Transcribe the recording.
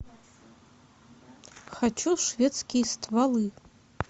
хочу шведские стволы